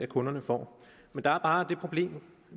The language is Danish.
kunderne får men der er bare det problem